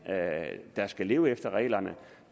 der skal leve efter reglerne